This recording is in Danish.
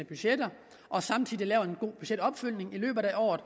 budgetter og samtidig laver en god budgetopfølgning i løbet af året